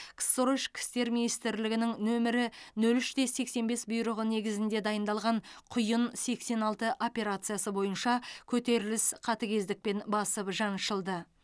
ксро ішкі істер министрлігінің нөмірі нөл үште сексен бес бұйрығы негізінде дайындалған құйын сексен алты операциясы бойынша көтеріліс қатыгездікпен басып жаншылды